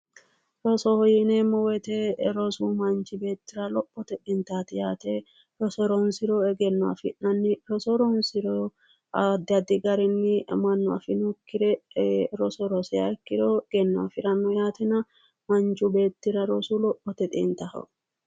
Rosoho yineemmo woyite rosu manchi beettira lophote xintaati yaate roso ronsiro egenno afi'nanni yaate roso ronsiro addi addi garinni mannu afinokkire roso rosiha ikkiro egenno afiranno yaatena manchu beettira rosu lophote xintaho